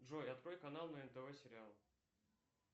джой открой канал на нтв сериал